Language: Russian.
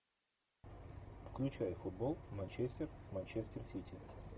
включай футбол манчестер с манчестер сити